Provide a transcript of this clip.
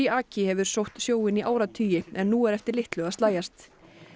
aki hefur sótt sjóinn í áratugi en nú er eftir litlu að slægjast